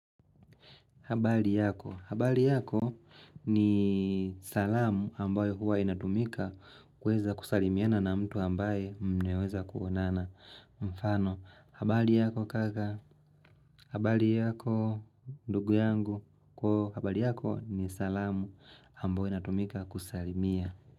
Habari yako.? Habari yako ni salamu ambayo huwa inatumika kuweza kusalimiana na mtu ambaye mmeweza kuonana. Mfano. Habari yako kaka. Habari yako ndugu yangu. Habari yako ni salamu ambayo inatumika kusalimia.